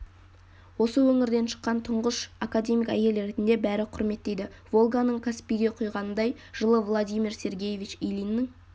осы өңірден шыққан тұңғыш академик әйел ретінде бәрі құрметтейді волганың каспиге құйғанындай жылы владимир сергевич илиннің